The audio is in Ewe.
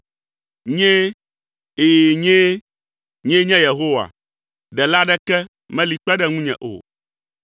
Nyee, ɛ̃, nyee. Nyee nye Yehowa. Ɖela aɖeke meli kpe ɖe ŋunye o.